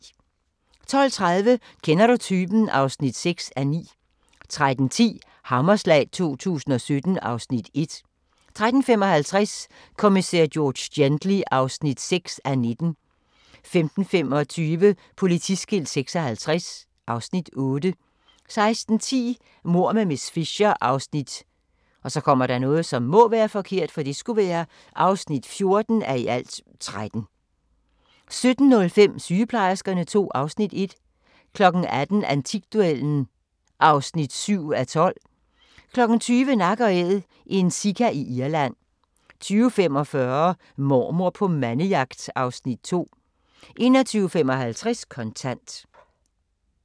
12:30: Kender du typen? (6:9) 13:10: Hammerslag 2017 (Afs. 1) 13:55: Kommissær George Gently (6:19) 15:25: Politiskilt 56 (Afs. 8) 16:10: Mord med miss Fisher (14:13) 17:05: Sygeplejerskerne II (Afs. 1) 18:00: Antikduellen (7:12) 20:00: Nak & Æd – en sika i Irland 20:45: Mormor på mandejagt (Afs. 2) 21:55: Kontant